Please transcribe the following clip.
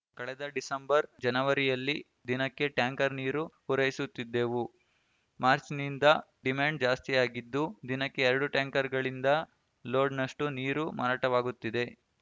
ಕಳೆದ ಡಿಸೆಂಬರ್ ಜನವರಿಯಲ್ಲಿ ದಿನಕ್ಕೆ ಟ್ಯಾಂಕರ್ ನೀರು ಪೂರೈಸುತ್ತಿದ್ದೆವು ಮಾರ್ಚ್‌ನಿಂದ ಡಿಮ್ಯಾಂಡ್ ಜಾಸ್ತಿಯಾಗಿದ್ದು ದಿನಕ್ಕೆ ಎರಡು ಟ್ಯಾಂಕರ್‌ಗಳಿಂದ ಲೋಡ್‌ನಷ್ಟು ನೀರು ಮಾರಾಟವಾಗುತ್ತಿದೆ